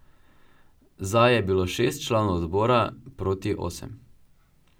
Za je bilo šest članov odbora, proti osem.